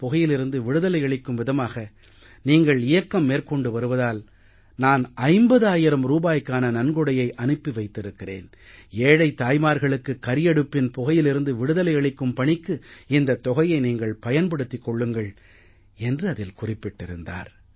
புகையிலிருந்து விடுதலை அளிக்கும் விதமாக நீங்கள் இயக்கம் மேற்கொண்டு வருவதால் நான் 50000 ரூபாய்க்கான நன்கொடையை அனுப்பி வைத்திருக்கிறேன் ஏழைத் தாய்மார்களுக்கு கரியடுப்பின் புகையிலிருந்து விடுதலை அளிக்கும் பணிக்கு இந்தத் தொகையை நீங்கள் பயன்படுத்திக் கொள்ளுங்கள் என்று அதில் அவர் குறிப்பிட்டிருந்தார்